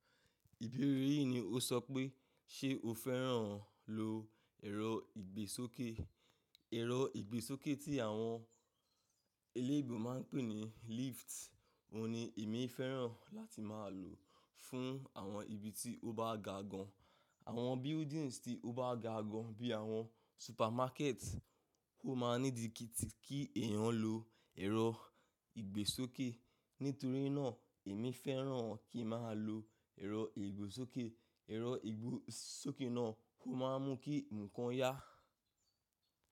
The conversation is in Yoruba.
Ìbéèrè yìí ni ó sọ pé, ṣe o fẹ́ràn lo ẹ̀rọ ìgbésókè? Ẹ̀rọ ìgbésókè tí àwọn eléèbò máa ń pè ní lift. Óun ní èmi fẹ́ràn láti máa lò ó fún àwọn ibi tí ó bá gá gàn. Àwọn buildings tí ó bá gágàn bí i àwọn supermarket, kó máa nídìí kí èèyàn lo ẹ̀rọ ìgbésókè. Nítorí náà èmi fẹ́ràn kí n máa lo ẹ̀rọ ìgbésókè. Ẹ̀rọ ìgbésókè náà ò máa mún kí ǹkan yá.